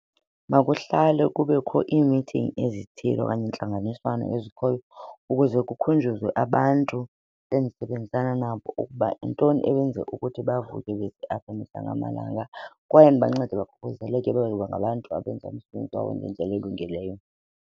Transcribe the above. Makuhlale kubekho iimithingi ezithile okanye intlanganiswano ezikhoyo ukuze kukukhunjuzwe abantu endisebenzisana nabo ukuba yintoni ebenza ukuthi bavuke amalanga kwaye ndibancede bakhuseleke babe ngabantu abenza umsebenzi wabo ngendlela elungileyo.